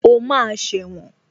O máa sẹ̀wọ̀n